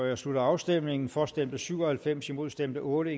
jeg slutter afstemningen for stemte syv og halvfems imod stemte otte